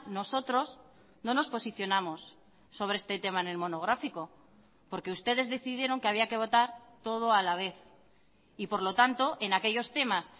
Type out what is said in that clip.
nosotros no nos posicionamos sobre este tema en el monográfico porque ustedes decidieron que había que votar todo a la vez y por lo tanto en aquellos temas